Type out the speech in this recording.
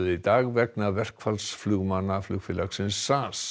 í dag vegna verkfalls flugmanna flugfélagsins